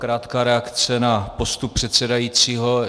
Krátká reakce na postup předsedajícího.